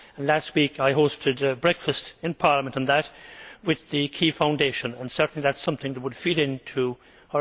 Last week I hosted a breakfast in Parliament with the Key Foundation, and certainly that is something that would feed into Horizon